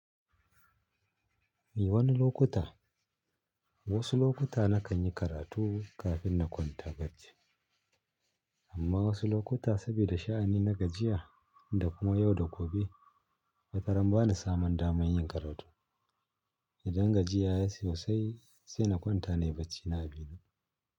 Ni wani lokuta, wasu lokuta nakan yi karatu kafin na kwanta bacci. Amma wasu lokuta saboda sha'ani na gajiya da kuma yau da gobe, wataran bana samun damar yin karatu. Idan gajiya ya yi sosai, sai na kwanta nayi bacci yafi.